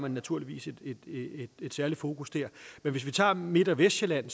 naturligvis et særligt fokus der men vi kan tage midt og vestsjælland